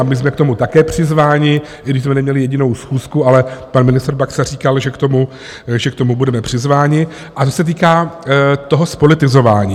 A my jsme k tomu také přizváni, i když jsme neměli jedinou schůzku, ale pan ministr Baxa říkal, že k tomu budeme přizváni a že se týká toho zpolitizování.